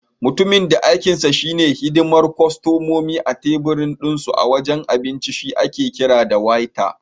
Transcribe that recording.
Mutumin da aikinsa shi ne hidimar kostomomi a tebir dinsu a wajen abinci shi ake kira da Waiter.